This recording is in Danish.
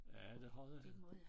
Ja det har det